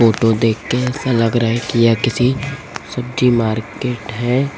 Photo देखके ऐसा लग रहा है कि यह किसी सब्जी मार्केट है।